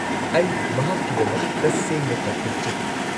ꯑꯩ ꯃꯍꯥꯛꯀꯤꯗꯃꯛ ꯇꯁꯦꯡꯅ ꯆꯥꯎꯊꯣꯛꯆꯩ꯫